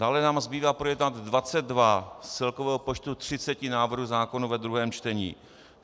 Dále nám zbývá projednat 22 z celkového počtu 30 návrhů zákonů ve druhém čtení.